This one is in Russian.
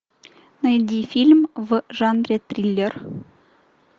найди фильм в жанре триллер